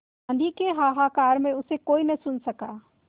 आँधी के हाहाकार में उसे कोई न सुन सका